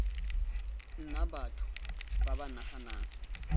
nna batho ba ba naganang